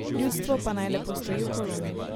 Ljudstvo pa naj lepo stoji v koloni.